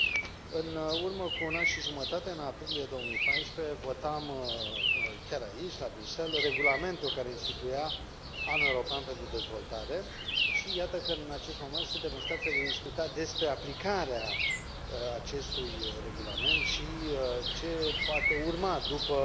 Domnule președinte, în urmă cu un an și jumătate, în aprilie 2014, votam chiar aici, la Bruxelles, regulamentul care instituia Anul European pentru Dezvoltare și iată că, în acest moment, suntem în situația de a discuta despre aplicarea acestui regulament și ce poate urma după